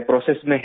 process में हैं